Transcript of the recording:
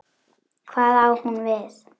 Hvað á hún við?